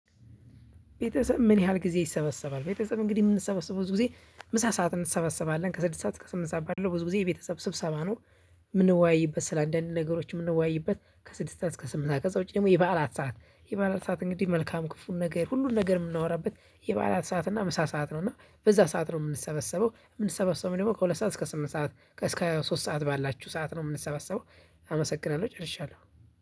ቤተሰብ ምን ያህል ጊዜ ይሰበሰባል? ቤተሰብ እንግዲህ የምንሰበሰበው ብዙ ጊዜ ምሳ ሰዓት እንሰበሰባለን ከስድስት ሰዓት እስከ ስምንት ሰዓት ባለው ብዙ ጊዜ የቤተሰብ ስብሰባ ነው። ምንወያይበት ስለ አንዳንድ ነገሮች ምንወያይበት ከስድስት እስከ ስምንት ሰዓት ከዛ ውጪ ደግሞ የበዓላት ሰዓት የበዓላት ሰዓት እንግዲህ መልካም ክፉን ነገር ሁሉን ነገር የምናወራበት የበዓላት ሰዓት እና ምሳ ሰዓት ነው። እና በዛ ሰዓት ነው የምንሰበሰበው የምንሰበሰበው ደግሞ ከሁለት ሰዓት እስከ ስምንት ሰዓት እስከ ሶስት ሰዓት ባላችሁ ሰዓት ነው የምንሰበሰበው። አመሰግናለሁ ጨርሻለሁ።